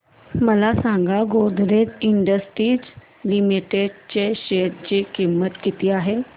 मला सांगा Godrej industries limited च्या शेअर ची किंमत किती आहे